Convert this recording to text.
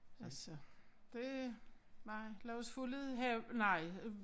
Altså det nej lad os få lidt hav nej øh